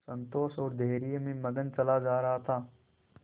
संतोष और धैर्य में मगन चला जा रहा था